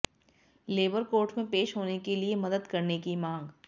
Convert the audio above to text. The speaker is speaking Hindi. लेबर कोर्ट में पेश होने के लिए मदद करने की मांग